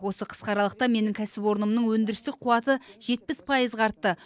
осы қысқа аралықта менің кәсіпорнымның өндірістік қуаты жетпіс пайызға артты